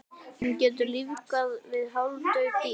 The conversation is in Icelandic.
Hún getur lífgað við hálfdauð dýr.